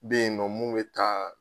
Ben yen nɔ mun be taa